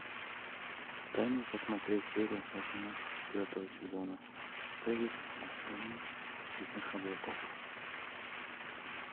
дай мне посмотреть серию восемнадцать четвертого сезона повесть о стране цветных облаков